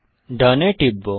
done এ টিপব